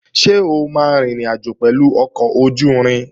Ṣé o máa rin ìrìnàjò pẹ̀lú ọkọ̀ ojú-irin?